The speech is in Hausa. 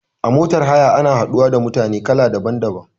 A motar haya ana haɗuwa da mutane kala daban daban